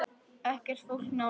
Ekkert fólk nálægt.